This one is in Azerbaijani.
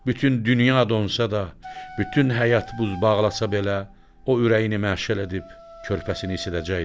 Bütün dünya donsa da, bütün həyat buz bağlasa belə, o ürəyini məşəl edib körpəsini isidəcəkdir.